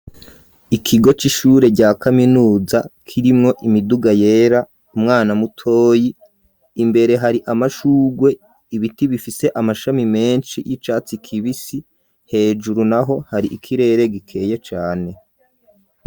ikigo c'ishure rya kaminuza kirimwo imiduga yera umwana mutoyi imbere hari amashugwe ibiti bifise amashami menshi y'icatsi kibisi hejuru naho hari ikirere gikeye cane.